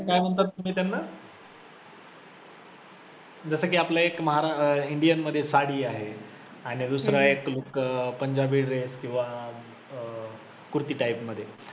त्यानंतर मी त्यांना जसं की आपल्या एक महारा indian मध्ये साडी आहे, आणि दुसरं आहे look अं पंजाबी dress किंवा कूर्ती type मध्ये